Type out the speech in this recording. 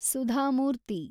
Sudha Murthy